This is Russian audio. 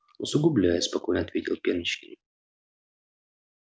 усугубляет спокойно ответил пеночкин